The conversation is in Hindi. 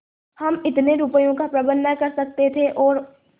हम इतने रुपयों का प्रबंध न कर सकते थे और